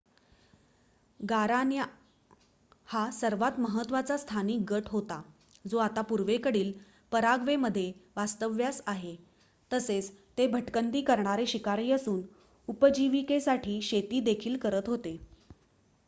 गारान्या हा सर्वात महत्वाचा स्थानिक गट होता जो आता पूर्वेकडील पराग्वेमध्ये वास्तव्यास आहे तसेच ते भटकंती करणारे शिकारी असून उपजीविकेसाठी शेती देखील करत होते